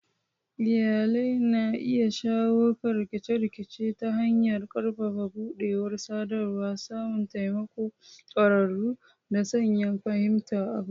Iyalai na iya shawo kan rikice-rikice ta hanyar ƙarfafa buɗewar sadarwa, samun taimakon ƙwararru, da sanya fahimta a gaba.